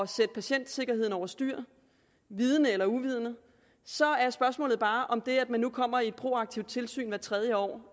sætte patientsikkerheden over styr vidende eller uvidende så er spørgsmålet bare om det at der nu kommer et proaktivt tilsyn hvert tredje år